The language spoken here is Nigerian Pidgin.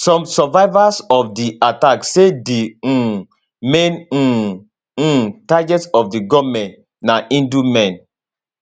some survivors of di attack say di um main um um targets of di gunmen na hindu men